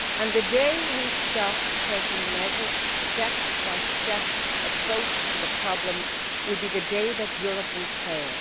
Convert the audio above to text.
The day we stop taking a measured step by step approach to the problems will be the day that Europe will fail.